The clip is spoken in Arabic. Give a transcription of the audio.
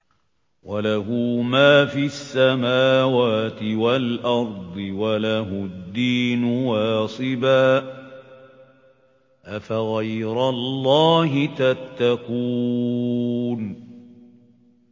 وَلَهُ مَا فِي السَّمَاوَاتِ وَالْأَرْضِ وَلَهُ الدِّينُ وَاصِبًا ۚ أَفَغَيْرَ اللَّهِ تَتَّقُونَ